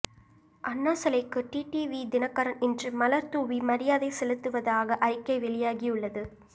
அண்ணா சிலைக்கு டிடிவி தினகரன் இன்று மலர் தூவி மரியாதை செலுத்துவதாக அறிக்கை வெளியாகியுள்ளது